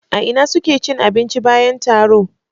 A ina suke cin abinci bayan taro?